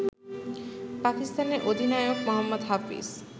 পাকিস্তানের অধিনায়ক মোহাম্মদ হাফিজ